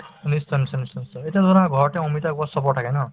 নিশ্চয় নিশ্চয় নিশ্চয় নিশ্চয় এতিয়া ধৰা ঘৰতে অমিতাৰ গছ চবৰ থাকে ন